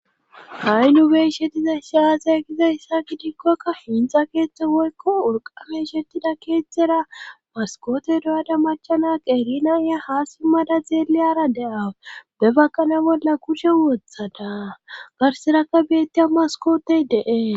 Ha'i nu beiishetiza ishaaza kizayssa kidikkoakka finxa keeththe woykko wurqafeishettida keethtzera baskoote do'ada machanak erinaiya haasimmada xeeliyara deawu be bakkana bolla kushe wothada garserakka beettiya maskootey deees.